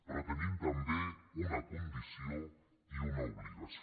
però tenim també una condició i una obligació